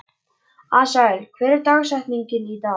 Asael, hver er dagsetningin í dag?